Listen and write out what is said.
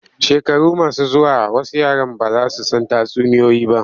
Shekaru masu zuwa wasu yaran ba za su san tatsuniyoyi ba.